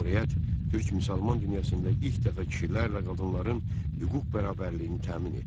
Cümhuriyyət türk müsəlman dünyasında ilk dəfə kişilərlə qadınların hüquq bərabərliyini təmin etdi.